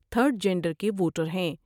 Third gender کے voter ہیں ۔